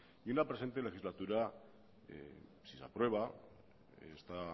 y la presente legislatura si se aprueba esta